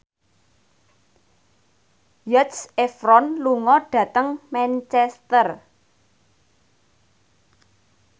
Zac Efron lunga dhateng Manchester